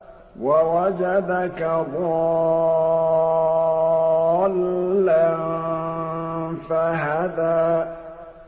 وَوَجَدَكَ ضَالًّا فَهَدَىٰ